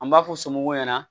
An b'a fɔ somɔgɔw ɲɛna